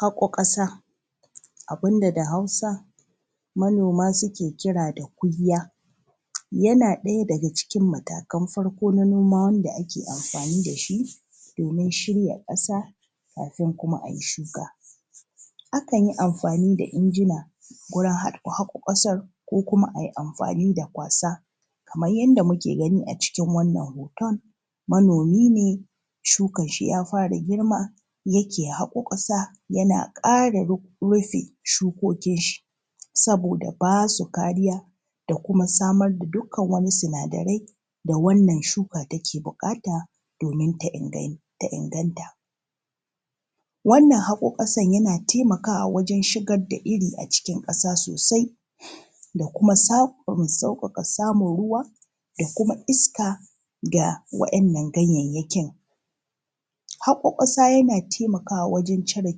haƙoo ƙasa abinda da hausa manoma suke kira da kuyya yana ɗaya daga cikin matakan farko na noma wanda ake amfani da shi domin shirya ƙasa kafin kuma ayi shuka akan yi amfani da injina gurin haƙo kasar ko kuma ayi amfani da kwasa kaman yadda muke gani a cikin wannan hoton manomi ne shukar shi ya fara girma yake haƙo ƙasa yana ƙara rufe shukokin shi saboda ba su kariya da kuma samar da dukkan wani sinadarai da wannan shuka take buƙata domin ta inganta wannan haƙo ƙasan yana taimakawa wajan shigar da iri a cikin ƙasa sosai da kuma sauƙaƙa samun ruwa da kuma iska ga wa’innan ganyanyakin haƙo ƙasa yana taimakawa wajan cire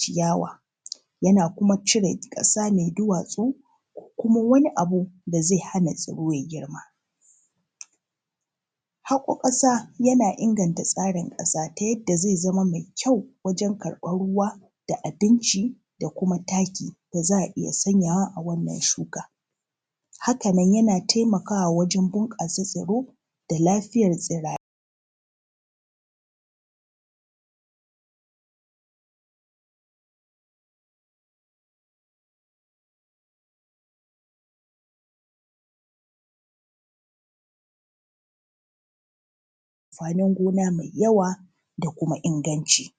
ciyawa yana kuma cire ƙasa mai duwatsu ko kuma wani abu da zai hana tsiro ya girma haƙo ƙasa yana inganta tsari ƙasa ta yadda zai zama mai kyau wajan karɓan ruwa da abinci da kuma taki da za a iya sanya wa a wannan shuka haka nan yana taimakawa wajan bunƙasa tsaro da lafiyan tsirai amfanin gona mai yawa da kuma inganci